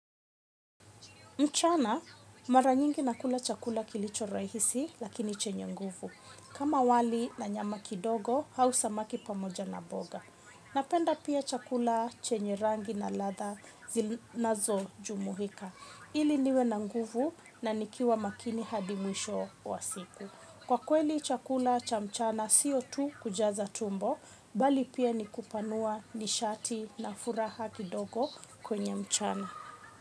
Mchana mara nyingi nakula chakula kilicho rahisi lakini chenye nguvu. Kama wali na nyama kidogo au samaki pamoja na mboga napenda pia chakula chenye rangi na ladha na zo jumuika. Ili niwe na nguvu na nikue makini hadi mwisho wa siku kwa kweli chakula cha mchana sio tu kujaza tumbo bali pia ni kupanua nishati na furaha kidogo kwenye mchana.